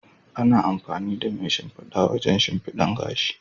Ana amfani da mai shimfida wajen shimfidan gashi.